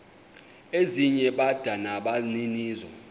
ezinye bada nabaninizo